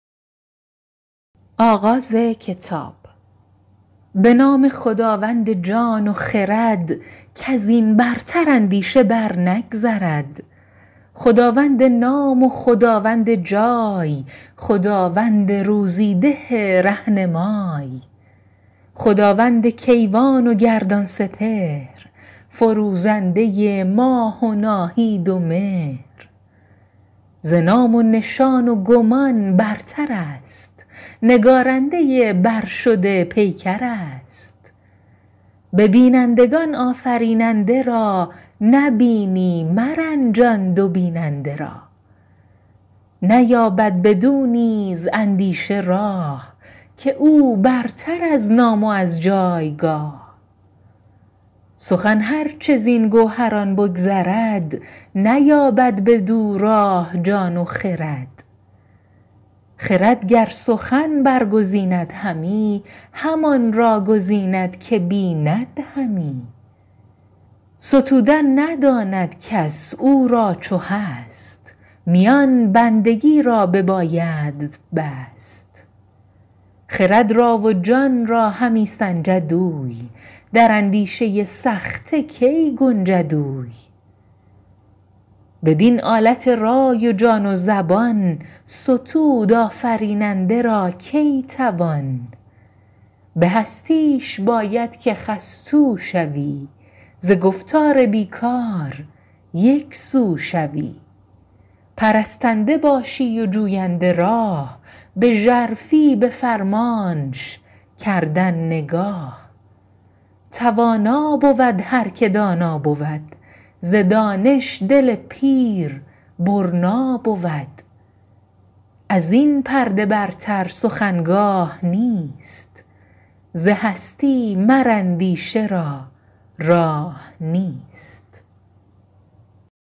به نام خداوند جان و خرد کز این برتر اندیشه بر نگذرد خداوند نام و خداوند جای خداوند روزی ده رهنمای خداوند کیوان و گردان سپهر فروزنده ماه و ناهید و مهر ز نام و نشان و گمان برتر است نگارنده برشده پیکر است به بینندگان آفریننده را نبینی مرنجان دو بیننده را نیابد بدو نیز اندیشه راه که او برتر از نام و از جایگاه سخن هر چه زین گوهران بگذرد نیابد بدو راه جان و خرد خرد گر سخن برگزیند همی همان را گزیند که بیند همی ستودن نداند کس او را چو هست میان بندگی را ببایدت بست خرد را و جان را همی سنجد اوی در اندیشه سخته کی گنجد اوی بدین آلت رای و جان و زبان ستود آفریننده را کی توان به هستیش باید که خستو شوی ز گفتار بی کار یکسو شوی پرستنده باشی و جوینده راه به ژرفی به فرمانش کردن نگاه توانا بود هر که دانا بود ز دانش دل پیر برنا بود از این پرده برتر سخن گاه نیست ز هستی مر اندیشه را راه نیست